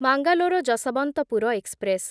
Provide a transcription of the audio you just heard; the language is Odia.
ମାଙ୍ଗାଲୋର ଯଶୱନ୍ତପୁର ଏକ୍ସପ୍ରେସ୍